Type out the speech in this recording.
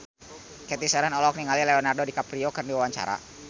Cathy Sharon olohok ningali Leonardo DiCaprio keur diwawancara